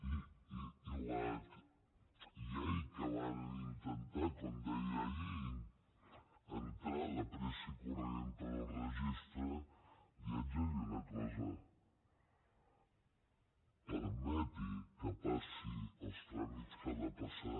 i la llei que varen intentar com deia ahir entrar de pressa i corrents pel registre li haig de dir una cosa permeti que passi els tràmits que ha de passar